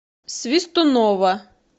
свистунова